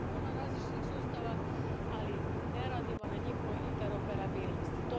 Imamo puno različitih sustava, ali ne radimo na njihovoj interoperabilnosti.